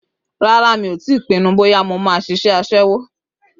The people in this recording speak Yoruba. Rárá, mi ò tíì pinnu bóyá mo máa ṣiṣẹ́ aṣẹ́wó?